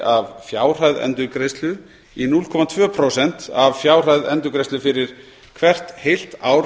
af fjárhæð endurgreiðslu í núll komma tvö prósent af fjárhæð endurgreiðslu fyrir hvert heilt ár